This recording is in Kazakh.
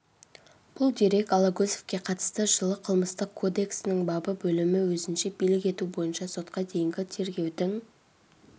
бұл дерек алагөзовке қатысты жылы қылмыстық кодексінің бабы бөлімі өзінше билік ету бойынша сотқа дейінгі тергеудің